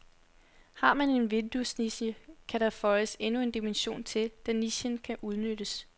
Har man en vinduesniche, kan der føjes endnu en dimension til, da nichen kan udnyttes.